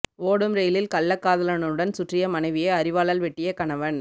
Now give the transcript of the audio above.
ஓடும் ரெயிலில் கள்ளக்காதலனுடன் சுற்றிய மனைவியை அரிவாளால் வெட்டிய கணவன்